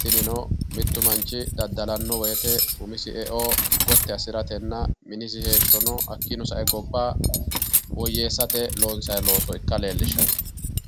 tinino mittu manchi daddalanno wote umisi eo gotti assiratenna minisi eo hakkiino sae gobba woyyeessate loonsanni looso ikka leellishshanno.